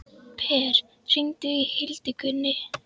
Per, hringdu í Hildigunni.